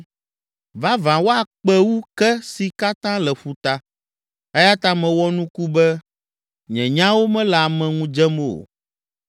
Vavã woakpe wu ke si katã le ƒuta, eya ta mewɔ nuku be nye nyawo mele ame ŋu dzem o.